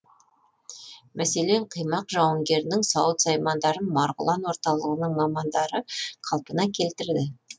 мәселен қимақ жауынгерінің сауыт саймандарын марғұлан орталығының мамандары қалпына келтірді